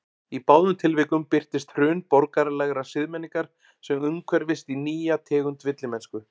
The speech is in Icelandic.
Í báðum tilvikum birtist hrun borgaralegrar siðmenningar sem umhverfist í nýja tegund villimennsku.